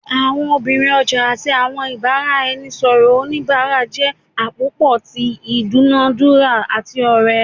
Awọn obirin ọja ati awọn ibaraẹnisọrọ onibara jẹ apopọ ti idunadura ati ore